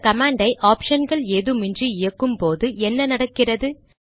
இந்த கமாண்ட் ஐ ஆப்ஷன்கள் ஏதுமின்றி இயக்கும்போது என்ன நடக்கிறது